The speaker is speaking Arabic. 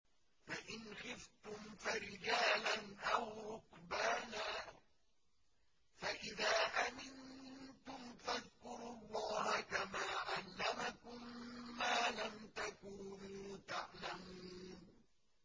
فَإِنْ خِفْتُمْ فَرِجَالًا أَوْ رُكْبَانًا ۖ فَإِذَا أَمِنتُمْ فَاذْكُرُوا اللَّهَ كَمَا عَلَّمَكُم مَّا لَمْ تَكُونُوا تَعْلَمُونَ